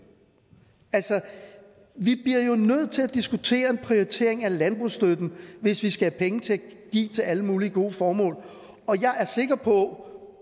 vi bliver jo nødt til at diskutere en prioritering af landbrugsstøtten hvis vi skal have penge til at give til alle mulige gode formål og jeg er sikker på